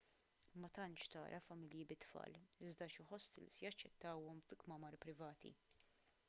ma tantx tara familji bit-tfal iżda xi ħostels jaċċettawhom fi kmamar privati